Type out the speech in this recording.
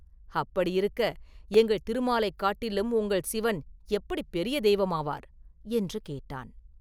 அப்படியிருக்க, எங்கள் திருமாலைக் காட்டிலும் உங்கள் சிவன் எப்படிப் பெரிய தெய்வமாவார்?” என்று கேட்டான்.